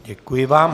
Děkuji vám.